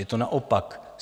Je to naopak.